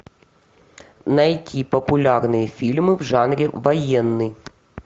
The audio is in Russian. найти популярные фильмы в жанре военный